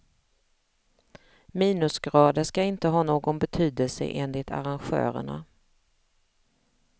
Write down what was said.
Minusgrader ska inte ha någon betydelse enligt arrangörerna.